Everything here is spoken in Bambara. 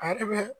A yɛrɛ bɛ